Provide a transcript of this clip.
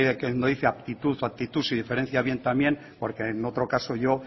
cuando dice actitud o aptitud si diferencia bien también porque en otro caso yo